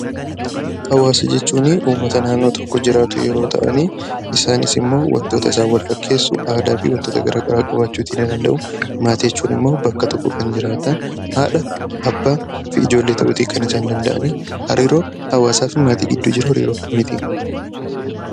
Hawaasa jechuun uummata naannoo tokko jiraatu yeroo ta'ani, isaanis immoo wantoota wal isaan fakkeessu aadaa fi wantoota gara garaa qabaachuuti ni danda'u. Maatii jechuun immoo bakka tokko kan jiraatan haadha, abbaa fi ijoollee ta'uuti kan isaan danda'ani. Hariiroon hawaasaa fi maatii gidduu jiru hariiroo akkamiiti?